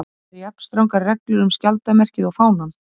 Eru jafn strangar reglur um skjaldarmerkið og fánann?